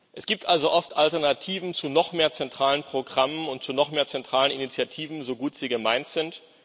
Es gibt also oft Alternativen zu noch mehr zentralen Programmen und zu noch mehr zentralen Initiativen so gut sie gemeint sind.